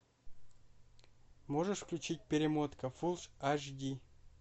можешь включить перемотка фул аш ди